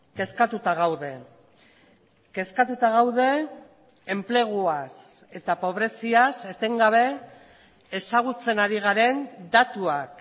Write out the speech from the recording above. kezkatuta gaude kezkatuta gaude enpleguaz eta pobreziaz etengabe ezagutzen ari garen datuak